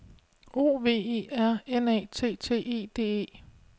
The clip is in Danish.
O V E R N A T T E D E